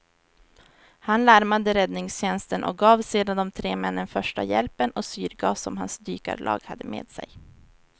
Han larmade räddningstjänsten och gav sedan de tre männen första hjälpen och syrgas som hans dykarlag hade med sig.